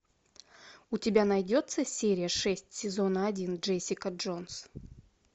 у тебя найдется серия шесть сезона один джессика джонс